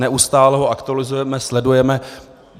Neustále ho aktualizujeme, sledujeme.